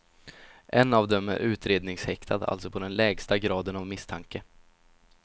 En av dem är utredningshäktad, alltså på den lägsta graden av misstanke.